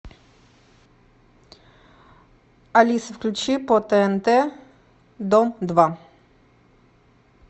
алиса включи по тнт дом два